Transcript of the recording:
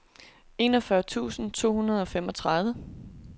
enogfyrre tusind to hundrede og femogtredive